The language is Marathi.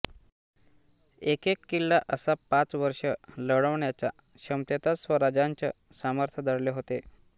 एकेक किल्ला असा पाच वर्षं लढवण्याच्या क्षमतेतच स्वराज्याचं सामर्थ्य दडले होते